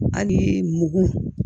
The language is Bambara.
Ani mugu